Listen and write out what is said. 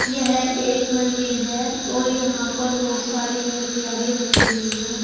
यह एक मंदिर है और यहां पर बहोत सारी मूर्तियां भी रखी हुई हैं।